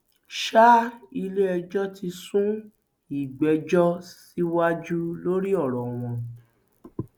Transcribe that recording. sa iléẹjọ ti sún ìgbẹjọ síwájú lórí ọrọ wọn